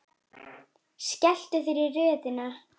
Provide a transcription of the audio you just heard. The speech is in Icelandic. Skelltu þér í röðina.